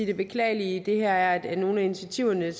det beklagelige i det her er at nogle af initiativerne